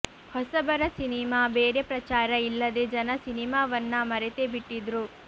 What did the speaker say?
ಹೊಸಬರ ಸಿನಿಮಾ ಬೇರೆ ಪ್ರಚಾರ ಇಲ್ಲದೆ ಜನ ಸಿನಿಮಾವನ್ನ ಮರೆತೇ ಬಿಟ್ಟಿದ್ರು